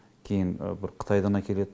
кейін бір қытайдан әкеледі